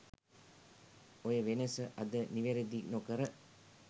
ඔය වෙනස අද නිවරදි නොකර